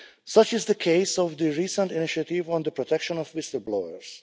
Such is the case for the recent initiative on the protection of whistle-blowers.